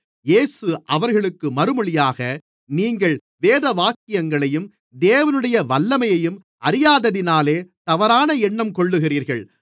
இயேசு அவர்களுக்கு மறுமொழியாக நீங்கள் வேதவாக்கியங்களையும் தேவனுடைய வல்லமையையும் அறியாததினாலே தவறான எண்ணங்கொள்ளுகிறீர்கள்